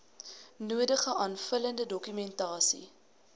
nodige aanvullende dokumentasie